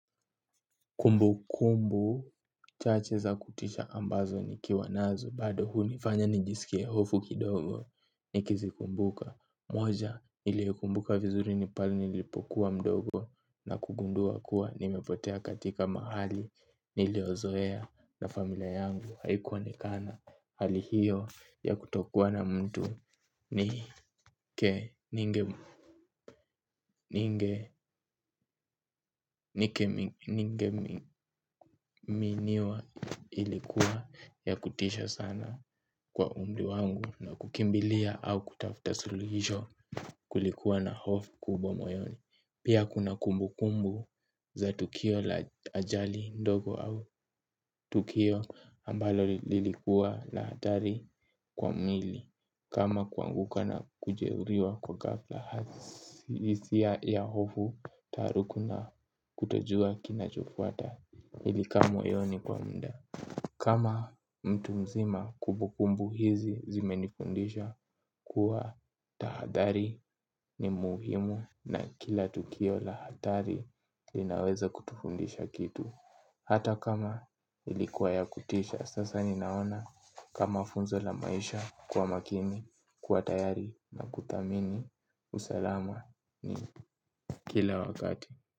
Kumbu kumbu chache za kutisha ambazo nikiwa nazo bado hunifanya nijisikie hofu kidogo nikizikumbuka moja niliekumbuka vizuri ni pale nilipokuwa mdogo na kugundua kuwa nimepotea katika mahali niliyozoea na familia yangu haikuonekana. Hali hiyo ya kutokuwa na mtu ni ke ninge miniwa ilikuwa ya kutisha sana kwa umri wangu na kukimbilia au kutafuta suluhisho kulikuwa na hofu kubwa moyoni. Pia kuna kumbukumbu za tukio la ajali ndogo au tukio ambalo lilikuwa la hatari kwa mwili. Kama kuanguka na kujehuriwa kwa ghafla hisia ya hofu taharuku na kutojua kinachofuata ilikaa moyoni kwa mda. Kama mtu mzima kumbukumbu hizi zimenifundisha kuwa tahathari ni muhimu. Na kila tukio la hatari linaweza kutufundisha kitu. Hata kama ilikuwa ya kutisha. Sasa ninaona kama funzo la maisha kuwa makini. Kuwa tayari na kuthamini usalama ni kila wakati.